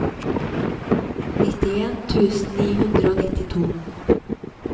nittien tusen ni hundre og nittito